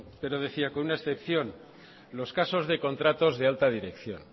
pero decía con una excepción los casos de contratos de alta dirección